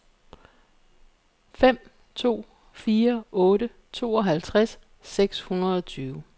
fem to fire otte tooghalvtreds seks hundrede og tyve